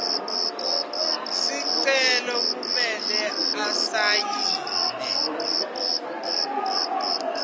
sicelo kumele asayine